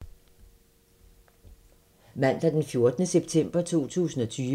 Mandag d. 14. september 2020